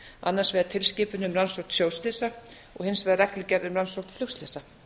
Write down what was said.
annars vegar tilskipun um rannsókn sjóslysa og hins vegar reglugerð um rannsókn flugslysa